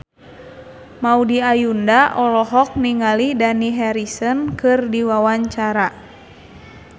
Maudy Ayunda olohok ningali Dani Harrison keur diwawancara